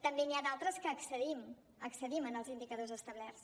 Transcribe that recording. també n’hi ha d’altres en què excedim excedim en els indicadors establerts